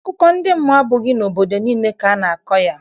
Akụkọ ndị mmụọ abụghị n'obodo niile ka a na-akọ ya.